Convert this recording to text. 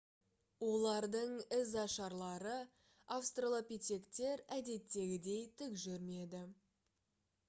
олардың ізашарлары австралопитектер әдеттегідей тік жүрмеді